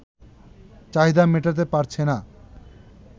চাহিদা মেটাতে পারছে না